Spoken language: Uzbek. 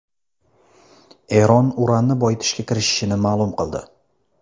Eron uranni boyitishga kirishishini ma’lum qildi.